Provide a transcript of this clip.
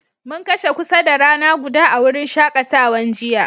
Mun kashe kusa da rana guda a'wurin shakatawan jiya.